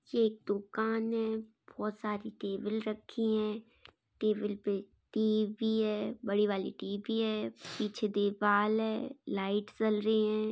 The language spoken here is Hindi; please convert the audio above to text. ये एक दुकान है बहुत सारी टेबल रखी है टेबल पे टी_वी है बड़ी वाली टी_वी है पीछे दीवाल है लाइट जल री है।